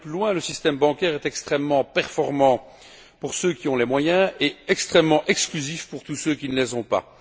Ou plutôt, le système bancaire est extrêmement efficace pour ceux qui ont les moyens et extrêmement exclusif pour tous ceux qui ne les ont pas.